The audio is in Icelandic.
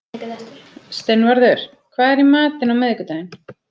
Steinvarður, hvað er í matinn á miðvikudaginn?